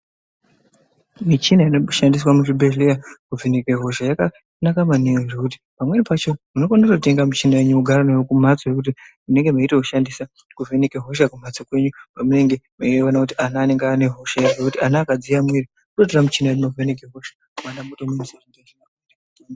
Michina ino mboshandiswa muzvibhedhlera kuvheneka hosha yakanaka maningi ngekuti pamweni meshe munokona kutenga mishini wenyu mogara nawo kumbatso nekuti munenge meitomushandisa kuvheneka hosha kumbatso kwenyu paunenge meiona kuti mwana anenge ane hosha here nekuti mwana akadziya muviri ototora muchini ovheneka hosha mwana motomwisa mutombo.